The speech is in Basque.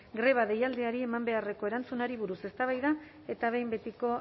greba deialdiari eman beharreko erantzunari buruz eztabaida eta behin betiko